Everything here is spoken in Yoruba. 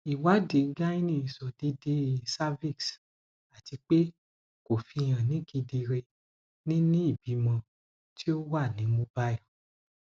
iwadi gyne sọ deede cervix atipe ko fihan kedere ni ni ibimọ ti o wa ni mobile